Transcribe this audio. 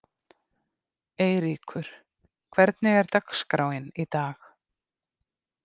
Eyríkur, hvernig er dagskráin í dag?